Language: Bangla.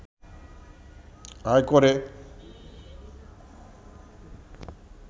আয় করে